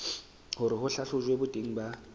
hore ho hlahlojwe boteng ba